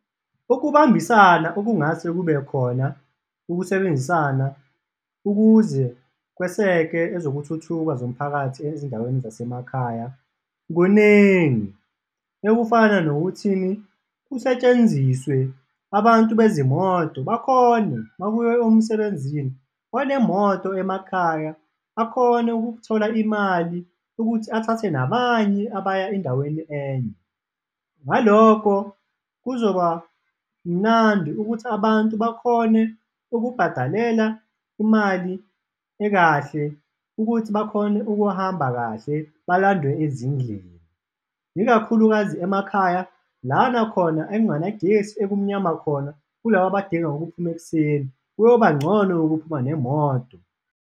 Ukubambisana okungase kubekhona ukusebenzisana ukuze kweseke ezokuthuthuka zomphakathi ezindaweni zasemakhaya kuningi, ekufana nokuthi kusetshenziswe abantu bezimoto bakhone, makuyiwa emsebenzini, onemoto emakhaya akhone ukuthola imali ukuthi athathe nabanye abaya endaweni enye. Ngalokho kuzoba mnandi ukuthi abantu bakhone ukubhadalela imali ekahle ukuthi bakhone ukuhamba kahle balandwe ezindlini, ikakhulukazi emakhaya lana khona ekungana gesi ekumnyama khona, kulaba abadinga ukuphuma ekuseni, kuyoba ngcono ukuphuma nemoto.